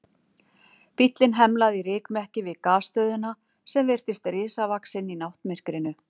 Bíllinn hemlaði í rykmekki við Gasstöðina sem virtist risavaxin í náttmyrkrinu.